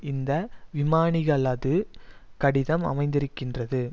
இந்த விமானிகளது கடிதம் அமைந்திருக்கின்றது